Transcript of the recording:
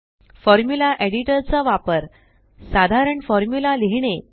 formula editor चा वापर साधारण फॉर्मुला लिहीणे